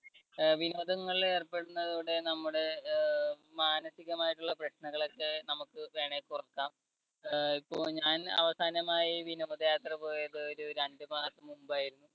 അഹ് വിനോദങ്ങളിൽ ഏർപ്പെടുന്നതോടെ നമ്മുടെ ആഹ് മാനസികമായിട്ടുള്ള പ്രശ്നങ്ങളൊക്കെ നമുക്ക് വേണെങ്കി കുറയ്ക്കാം. ആഹ് ഇപ്പോ ഞാൻ അവസാനമായി വിനോദയാത്ര പോയത് ഒരു രണ്ടുമാസം മുമ്പായിരുന്നു.